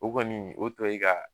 O kɔni o to ye ka